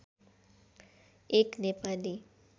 एक नेपाली